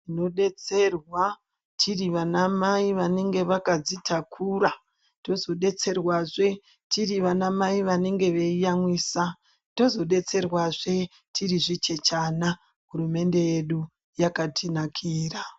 Tinodetserwa tiri vanamai vanenge vakadzitakura. Tozodetserwazve tiri vanamai vanenge veiyamwisa. Tozodetserwazve tiri zvichechana. Hurumende yedu yakatinakira.